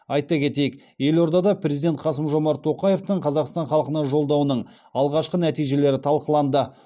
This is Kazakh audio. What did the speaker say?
айта кетейік елордада президент қасым жомарт тоқаевтың қазақстан халқына жолдауының алғашқы нәтижелері талқыланды